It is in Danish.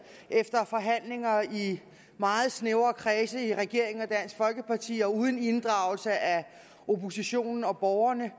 efter forhandlinger i meget snævre kredse i regeringen og dansk folkeparti og uden inddragelse af oppositionen og borgerne